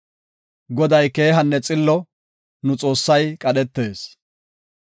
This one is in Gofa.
Goday keehanne xillo; nu Xoossay qadhetees.